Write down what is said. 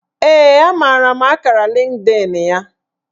Ee, amara m akara Lịnkdịn ya